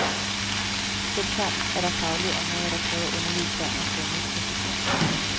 Selvklart er der faglige områder, der kræver underlige termer, grundet præcision.